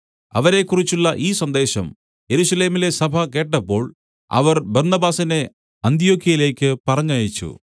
അവരെക്കുറിച്ചുള്ള ഈ സന്ദേശം യെരൂശലേമിലെ സഭ കേട്ടപ്പോൾ അവർ ബർന്നബാസിനെ അന്ത്യൊക്യയിലേക്ക് പറഞ്ഞയച്ചു